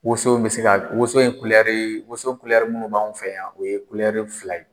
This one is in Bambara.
Woson bɛ se ka woson ye kulɛri , woson kulɛri minnu b'an fɛ yan , o ye kulɛri fila ye.